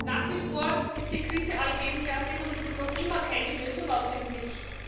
Nach wie vor ist die Krise allgegenwärtig, und es ist noch immer keine Lösung auf dem Tisch.